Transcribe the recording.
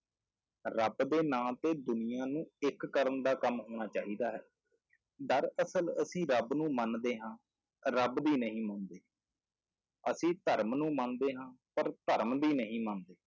ਰੱਬ ਦੇ ਨਾਂ ਤੇ ਦੁਨੀਆਂ ਨੂੰ ਇੱਕ ਕਰਨ ਦਾ ਕੰਮ ਹੋਣਾ ਚਾਹੀਦਾ ਹੈ, ਦਰਅਸਲ ਅਸੀਂ ਰੱਬ ਨੂੰ ਮੰਨਦੇ ਹਾਂ ਰੱਬ ਦੀ ਨਹੀਂ ਮੰਨਦੇ ਅਸੀਂ ਧਰਮ ਨੂੰ ਮੰਨਦੇ ਹਾਂਂ ਪਰ ਧਰਮ ਦੀ ਨਹੀਂ ਮੰਨਦੇ।